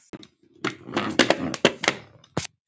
Bjarni Fel.